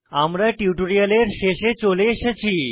আমরা টিউটোরিয়ালের শেষে চলে এসেছি